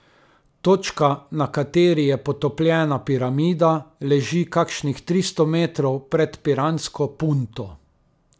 Točka, na kateri je potopljena piramida, leži kakšnih tristo metrov pred piransko Punto.